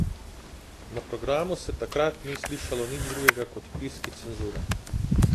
Na programu se takrat ni slišalo nič drugega kot piski cenzure ...